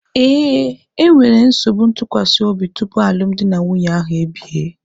Ee, e nwere nsogbu ntụkwasị obi tupu alụmdi na nwunye ahụ ebie.